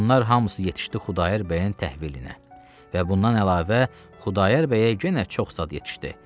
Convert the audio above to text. Bunlar hamısı yetişdi Xudayar bəyin təhvilinə və bundan əlavə Xudayar bəyə yenə çox zad yetişdi.